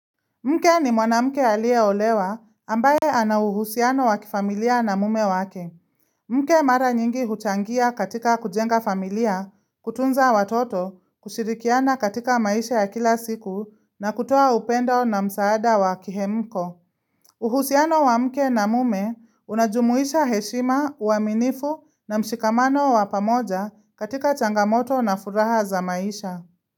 Mke ni mwanamke aliye olewa ambaye anawuhusiano wa kifamilia na mume wake. Mke mara nyingi huchangia katika kujenga familia, kutunza watoto, kushirikiana katika maisha ya kila siku na kutoa upendo na msaada wakihemko. Uhusiano wamke na mume unajumuisha heshima, uwaminifu na mshikamano wa pamoja katika changamoto na furaha za maisha.